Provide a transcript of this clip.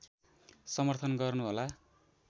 समर्थन गर्नु होला